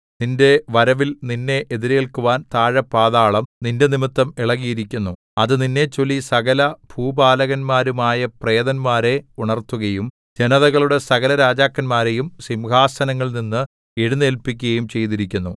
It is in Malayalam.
നിന്റെ വരവിൽ നിന്നെ എതിരേല്ക്കുവാൻ താഴെ പാതാളം നിന്റെനിമിത്തം ഇളകിയിരിക്കുന്നു അത് നിന്നെച്ചൊല്ലി സകലഭൂപാലന്മാരുമായ പ്രേതന്മാരെ ഉണർത്തുകയും ജനതകളുടെ സകല രാജാക്കന്മാരെയും സിംഹാസനങ്ങളിൽനിന്ന് എഴുന്നേല്പിക്കുകയും ചെയ്തിരിക്കുന്നു